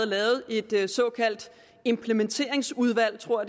lavet et såkaldt implementeringsudvalg tror